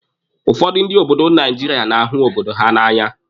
Ụfọdụ ndị obodo Naijiria na-ahụ obodo ha na'anya.